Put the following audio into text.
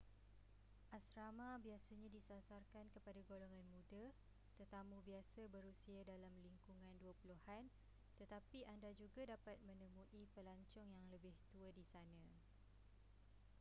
asrama biasanya disasarkan kepada golongan muda-tetamu biasa berusia dalam lingkungan dua puluhan-tetapi anda juga dapat menemui pelancong yang lebih tua di sana